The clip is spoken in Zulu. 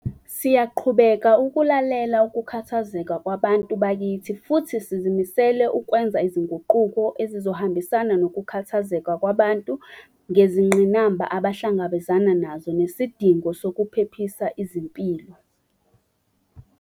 Siyaqhubeka ukulalela ukukhathazeka kwabantu bakithi futhi sizimisele ukwenza izinguquko ezizohambisana nokukhathazeka kwabantu ngezingqinamba abahlangabezana nazo nesidingo sokuphephisa izimpilo.